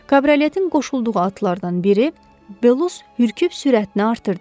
Kabrioletin qoşulduğu atlardan biri, Belus hürkülüb sürətini artırdı.